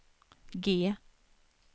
G